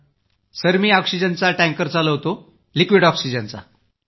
sir मी ऑक्सिजनचा tanker चालवतो लिक्विड ऑक्सिजनचा